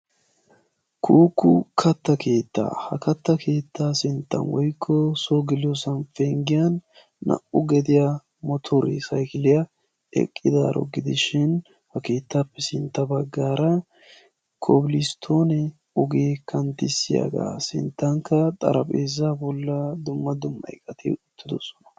Kuukku kattaa keettaa ha katta keettaassi sinttan woykko so geliyossan penggiyan naa"u gediya mottore saykkiliye eqqiddaaro gidishin keettappe sintta baggaara kobbilsttonne ogiya kanttissiyagaa sinttankka zarpheezaa bolla dumma dumma iqqati uttiddossona.